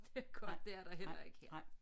Det er godt det er der heller ikke her